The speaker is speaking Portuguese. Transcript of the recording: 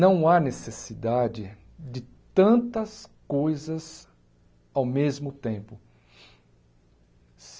Não há necessidade de tantas coisas ao mesmo tempo.